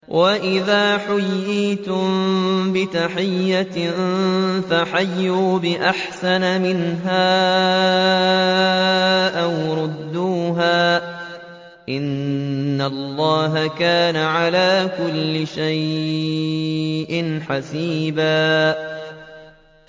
وَإِذَا حُيِّيتُم بِتَحِيَّةٍ فَحَيُّوا بِأَحْسَنَ مِنْهَا أَوْ رُدُّوهَا ۗ إِنَّ اللَّهَ كَانَ عَلَىٰ كُلِّ شَيْءٍ حَسِيبًا